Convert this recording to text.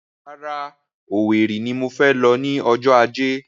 Rárá, Owerri ni mo fẹ lọ ní ọjọ́ ajé